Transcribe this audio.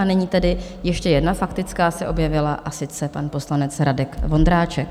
A nyní tedy ještě jedna faktická se objevila, a sice pan poslanec Radek Vondráček.